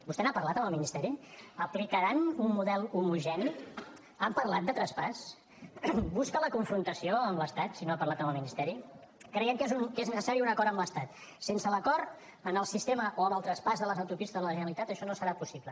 vostè n’ha parlat amb el ministeri aplicaran un model homogeni han parlat de traspàs busca la confrontació amb l’estat si no ha parlat amb el ministeri creiem que és necessari un acord amb l’estat sense l’acord en el sistema o en el traspàs de les autopistes a la generalitat això no serà possible